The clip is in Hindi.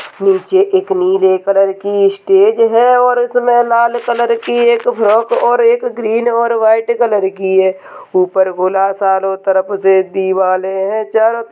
नीचे एक नीले कलर की स्टेज है और इसमें लाल कलर की एक फ्रॉक और एक ग्रीन और वाइट कलर की है ऊपर खुला चारों तरफ से दीवाले हैं चारों --